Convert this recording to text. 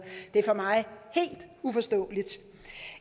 det er for mig helt uforståeligt